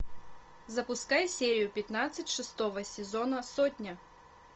запускай серию пятнадцать шестого сезона сотня